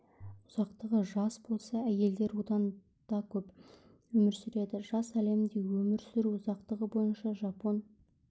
ұзақтығы жас болса әйелдер одан дакөп өмір сүреді жас әлемде өмір сүру ұзақтығы бойынша жапон